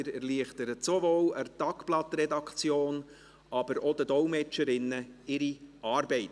Sie erleichtern sowohl der Tagblatt-Redaktion als auch den Dolmetscherinnen die Arbeit.